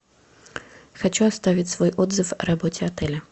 хочу оставить свой отзыв о работе отеля